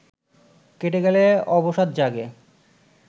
কেটে গেলে অবসাদ জাগে